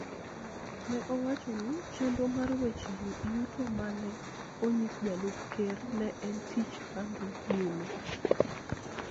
ne owacho ni chenro mar weche yuto ma ne onyis Jalup Ker ne en tich ma dhi nyime,